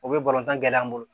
O bɛ balontan gɛlɛya an bolo